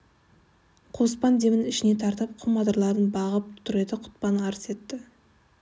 қоспан демін ішіне тартып құм адырларын бағып тұр еді құтпан арс етті